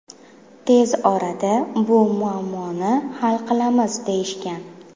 Tez orada bu muammoni hal qilamiz deyishgan.